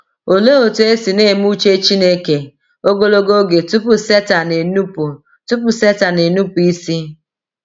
Olee otú e si na - eme uche Chineke ogologo oge tupu Setan enupụ tupu Setan enupụ isi?